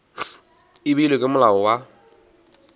e beilwego ke molao wa